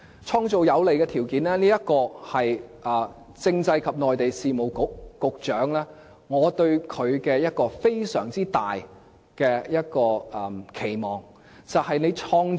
創造有利的條件，是我對政制及內地事務局局長的一個非常大的期望。